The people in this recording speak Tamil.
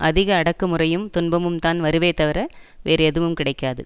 அதிக அடக்குமுறையும் துன்பமும்தான் வருமே தவிர வேறு எதுவும் கிடைக்காது